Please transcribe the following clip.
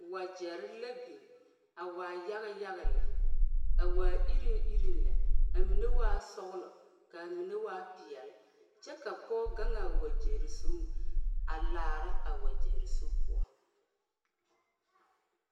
Wagyere la biŋ a waa yaga yaga lɛ, a waa iri iri lɛ ,mine waa sɔglo kaa mine waa peɛle kyɛ ka Pɔge gaŋ a wagyere zuŋ a laara a wagyere zu poɔ.